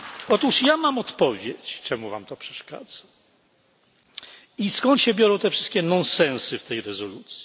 Otóż ja mam odpowiedź, czemu wam to przeszkadza i skąd się biorą te wszystkie nonsensy w tej rezolucji.